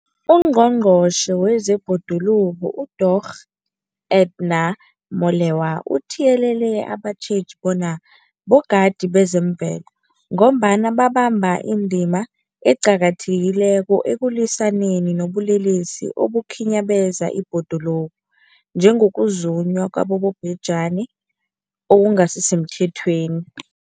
UNgqongqotjhe wezeBhoduluko uDorh Edna Molewa uthiyelele abatjheji bona bogadi bezemvelo, ngombana babamba indima eqakathekileko ekulwisaneni nobulelesi obukhinyabeza ibhoduluko, njengokuzunywa kwabobhejani okungasisemthethweni.